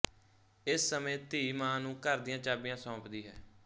ਇਸ ਸਮੇਂ ਧੀ ਮਾਂ ਨੂੰ ਘਰ ਦੀਆਂ ਚਾਬੀਆਂ ਸੌਂਪਦੀ ਹੈ